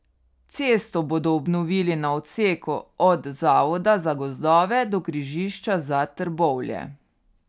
Cesto bodo obnovili na odseku od Zavoda za gozdove do križišča za Trbovlje.